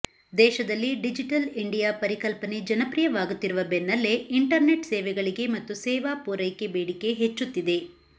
ದೇಶದಲ್ಲಿ digital India ಪರಿಕಲ್ಪನೆ ಜನಪ್ರಿಯವಾಗುತ್ತಿರುವ ಬೆನ್ನಲ್ಲೇ ಇಂಟರ್ನೆಟ್ ಸೇವೆಗಳಿಗೆ ಮತ್ತು ಸೇವಾ ಪೂರೈಕೆ ಬೇಡಿಕೆ ಹೆಚ್ಚುತ್ತಿದೆ